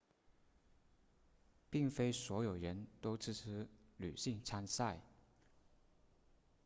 并非所有人都支持女性参赛